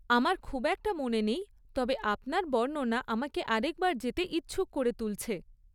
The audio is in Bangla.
আমার খুব একটা মনে নেই তবে আপনার বর্ণনা আমাকে আরেকবার যেতে ইচ্ছুক করে তুলছে।